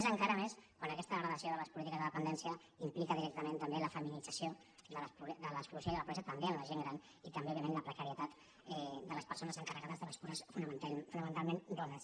més encara a més quan aquesta degradació de les polítiques de dependència implica directament també la feminització de l’exclusió i la pobresa també en la gent gran i també òbviament la precarietat de les persones encarregades de les cures fonamentalment dones